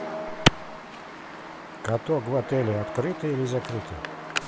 каток в отеле открытый или закрытый